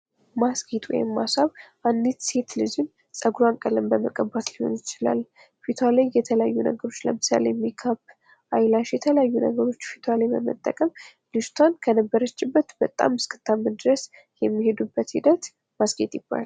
ማስጌጥ ወይም ማስዋብ አንዲት ሴት ልጅን ጸጉርዋን ቀለም በመቀባት ሊሆን ይችላል። ፊቷ ላይ የተለያዩ ነገሮች ለምሳሌ ሜክአፕ አይላሽ የተለያዩ ነገሮች ፊቷ ላይ በመጠቀም ልጅቷን ከነበረችበት በጣም እስክታምር ድረስ የሚሄዱበት ሂደት ማስጌጥ ይባላል።